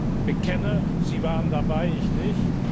Ich bekenne, Sie waren dabei, ich nicht.